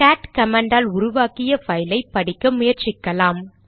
gate command ஆல் உருவாக்கிய பைலை படிக்க முயற்சிக்கலாம்